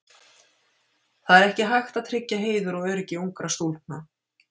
Það er ekki hægt að tryggja heiður og öryggi ungra stúlkna.